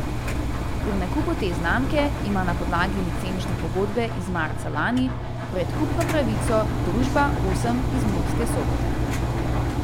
Pri nakupu te znamke ima na podlagi licenčne pogodbe iz marca lani predkupno pravico družba Osem iz Murske Sobote.